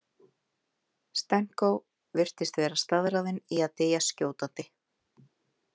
Stenko virtist vera staðráðinn í að deyja skjótandi.